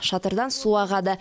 шатырдан су ағады